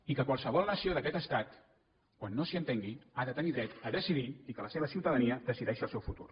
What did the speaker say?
i que qualsevol nació d’aquest estat quan no s’hi entengui ha de tenir dret a decidir i que la seva ciutadania decideixi el seu futur